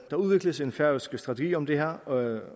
der udvikles en færøsk strategi om det her og